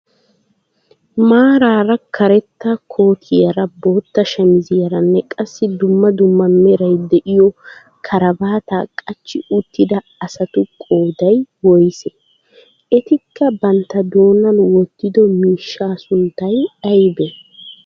Maarara karetta kootiyaara bootta shamiziyaaranne qassi dumma dumma meray de'iyoo karabaataa qachchi uttida asatu qooday woysee? Etikka bantta doonan wottido miishshaa sunttay aybee?